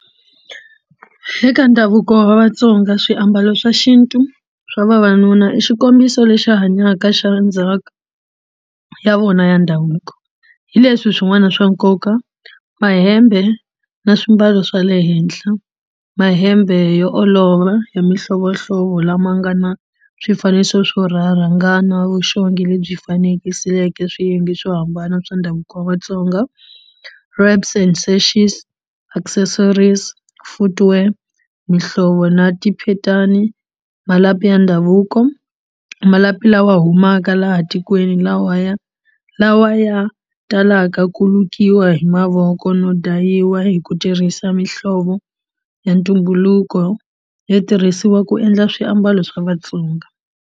Eka ndhavuko wa Vatsonga swiambalo swa xintu swa vavanuna i xikombiso lexi hanyaka xa ndzhaku ya vona ya ndhavuko hi leswi swin'wana swa nkoka mahembe na swimbalo swa le henhla mahembe yo olova hi mihlovohlovo lama nga na swifaniso swo na vuxongi lebyi fanekisiweke swiyenge swo hambana swa ndhavuko wa Vatsonga accessories footware mihlovo na tiphitani malapi ya ndhavuko malapi lawa humaka laha tikweni lawa ya lawa ya talaka ku lukiwa hi mavoko no dayiwa hi ku tirhisa mihlovo ya ntumbuluko yo tirhisiwa ku endla swiambalo swa Vatsonga.